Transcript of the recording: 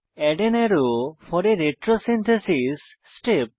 add an arrow for a retrosynthesis step